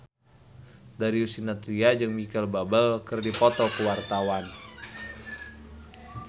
Darius Sinathrya jeung Micheal Bubble keur dipoto ku wartawan